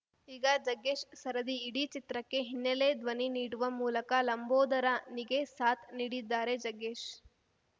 ಈಗ ಜಗ್ಗೇಶ್‌ ಸರದಿ ಇಡೀ ಚಿತ್ರಕ್ಕೆ ಹಿನ್ನೆಲೆ ಧ್ವನಿ ನೀಡುವ ಮೂಲಕ ಲಂಬೋದರನಿಗೆ ಸಾಥ್‌ ನೀಡಿದ್ದಾರೆ ಜಗ್ಗೇಶ್‌